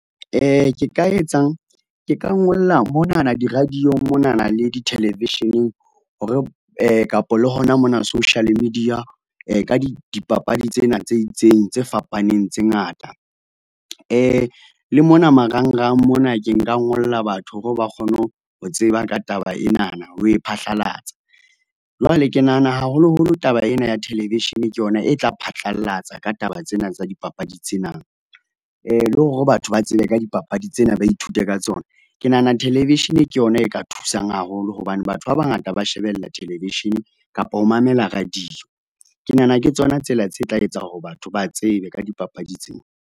Ke ka etsang? Ke ka ngola monana di-radio-ng monana le di-television-eng, hore kapo le hona mona social media, ka dipapadi tsena tse itseng tse fapaneng tse ngata. Le mona marangrang mona ke nka ngolla batho hore ba kgone ho tseba ka taba enana, ho e phahlalatsa. Jwale ke nahana haholoholo taba ena ya television ke yona e tla phatlallatsa ka taba tsena tsa dipapadi tsena. Le hore batho ba tsebe ka dipapadi tsena ba ithute ka tsona. Ke nahana television ke yona e ka thusang haholo, hobane batho ba bangata ba shebella television kapo ho mamela radio. Ke nahana ke tsona tsela tse tla etsa hore batho ba tsebe ka dipapadi tsena.